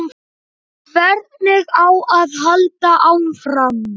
Hvernig á að halda áfram?